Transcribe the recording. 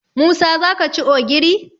Musa za ka ci ogiri?